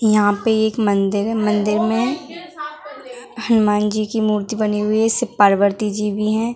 यहाँ पे एक मंदिर है मंदिर में हनुमान जी की मूर्ति बनी हुई है शिव पार्वती जी भी हैं ।